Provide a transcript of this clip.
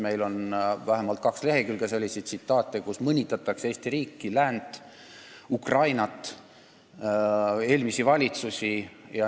Meil on vähemalt kaks lehekülge selliseid tsitaate, kus mõnitatakse Eesti riiki, läänt, Ukrainat, eelmisi valitsusi.